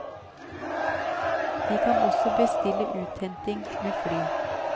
De kan også bestille uthenting med fly.